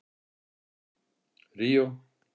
Ríó